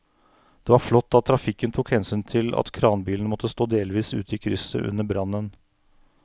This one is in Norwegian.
Det var flott at trafikken tok hensyn til at kranbilen måtte stå delvis ute i krysset under brannen.